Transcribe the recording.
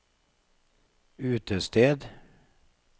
utested